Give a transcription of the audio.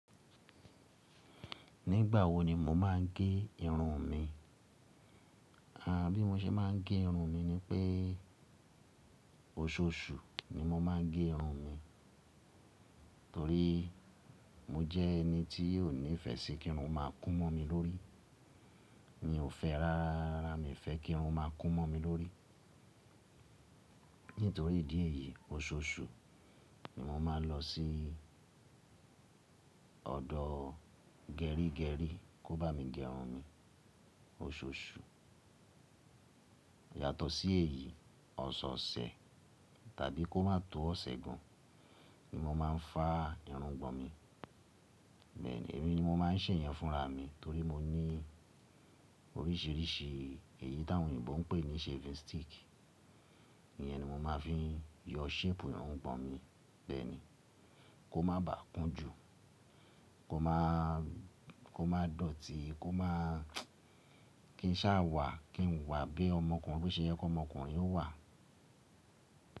Nígbà wo ni mo máa ń gé irun mi? À bí mo ṣe máa ń gé irun mi ni pé oṣooṣù ni mo máa ń gé irun mi, torí mo jẹ́ ẹni tí ó nífẹ̀ẹ́ sí kí irun máa kún mọ́ mi lórí. Mi ò fẹ́ rárá, mi ò fẹ́ kí irun máa kún mọ́ mi lórí. Nítorí ìdí èyí, oṣooṣù ni mo máa ń lọ sí ọ̀dọ̀ gẹrígẹrí kó bá mi gé irun mi, oṣooṣù. Yàtọ̀ sí èyí, ọ̀sọ̀ọ̀sẹ̀ tàbí kó má tó ọ̀sẹ̀ kan ni mo máa ń fá irun ọgbọ̀n mi. Bẹ́ẹ̀ni, èmi ni mo máa ń ṣè yẹn fúnra mi torí mo ní oríṣìíríṣìí èyí tí àwọn oyinbo ń pè ní shaving stick. Ìyẹn ni mo máa fi yọ shape irun gbọ̀n mi bẹ́ẹ̀ni, kó má bà kún jù, kó má dọ̀tí, kó má kí n sá wà, kí n wà bí ọmọkùnrin, bó ṣe yẹ ki ọmọkùnrin ó wà.